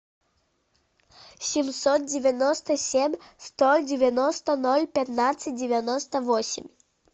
семьсот девяносто семь сто девяносто ноль пятнадцать девяносто восемь